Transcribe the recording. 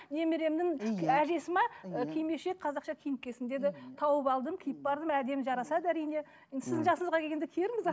немеремнің әжесі ме ы кимешек қазақша киініп келсін деді тауып алдым киіп бардым әдемі жарасады әрине енді сіздің жасыңызға келгенде киерміз